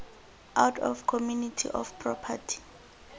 out of community of property